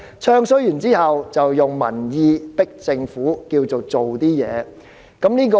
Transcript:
"唱衰"後，便以民意壓迫政府做點事。